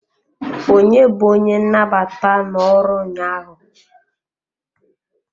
Onye bu onye nnabata no-ọrụ ụnyaahụ?